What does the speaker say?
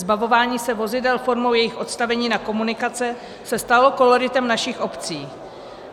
Zbavování se vozidel formou jejich odstavení na komunikace se stalo koloritem našich obcí.